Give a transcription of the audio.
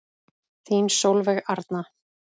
Þín Sólveig Arna.